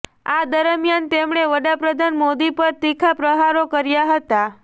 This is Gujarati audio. આ દરમિયાન તેમણે વડાપ્રધાન મોદી પર તીખા પ્રહારો કર્યા હતા